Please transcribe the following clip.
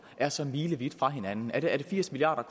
er så milevidt fra hinanden er det firs milliard